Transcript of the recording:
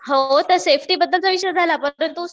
हो तर सेफ्टी बद्दलचा विषय झाला.